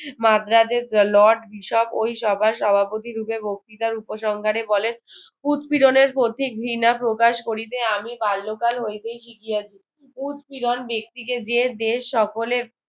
মাদ্রাজে lord Bishop ওই সভার সভাপতি রূপে বক্তৃতার উপসংহারে বলেন উৎপীড়নের প্রতি ঘৃণা প্রকাশ করিতে আমি বাল্যকাল হইতেই শিখিয়াছি উৎপীড়ণ ব্যক্তিকে যে দেশ সকলে